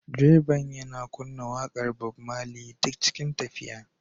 Direban yana kunna waƙar Bob Marley duk cikin tafiya